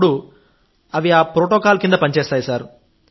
అప్పుడు అవి ఆ ప్రోటోకాల్ కింద పనిచేస్తాయి